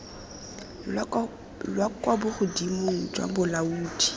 la kwa bogodimong jwa bolaodi